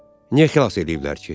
Niyə xilas eləyiblər ki?